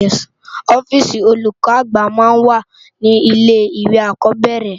Òfisi ólúkò ágbà má n wá ni ilé iwé ákòbèrè